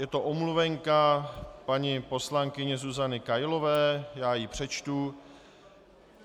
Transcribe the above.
Je to omluvenka paní poslankyně Zuzany Kailové, já ji přečtu.